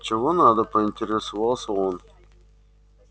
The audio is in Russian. чего надо поинтересовался он